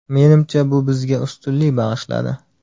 Menimcha bu bizga ustunlik bag‘ishladi.